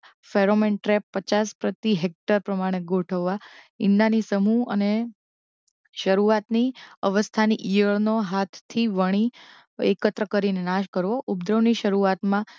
pheromone trap પચાસ પ્રતિ hectare પ્રમાણે ગોઠવવા ઇંડાંની સમૂહ અને શરુઆતની અવસ્થાની ઇયળ નો હાથથી વણી એકત્ર કરી નાશ કરવો ઉપદ્રવની શરુઆતમાં